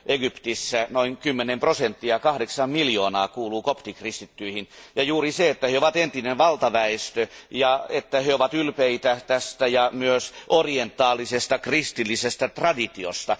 Egyptissä noin 10 prosenttia, kahdeksan miljoonaa, kuuluu koptikristittyihin, ja juuri sen vuoksi, että he ovat entinen valtaväestö, he ovat ylpeitä tästä ja myös orientaalisesta kristillisestä traditiosta.